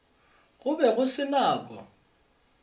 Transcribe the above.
go be go se nako